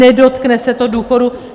Nedotkne se to důchodů?